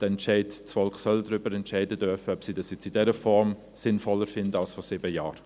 Das Volk soll darüber entscheiden dürfen, ob es das nun in dieser Form sinnvoller findet als vor sieben Jahren.